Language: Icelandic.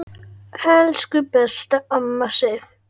Elsku besta amma Sif.